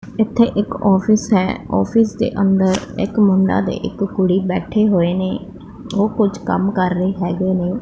ਇੱਥੇ ਇੱਕ ਆਫਿਸ ਹੈ ਆਫਿਸ ਦੇ ਅੰਦਰ ਇੱਕ ਮੁੰਡਾ ਤੇ ਇੱਕ ਕੁੜੀ ਬੈਠੇ ਹੋਏ ਨੇਂ ਉਹ ਕੁਝ ਕੰਮ ਕਰ ਰਹੇ ਹੈਗੇ ਨੇਂ।